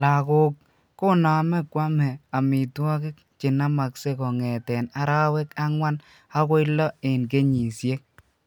Lagok koname komee omitwogik chenamaksee kong'eten arawek angwan akoi loo eng kenyisiek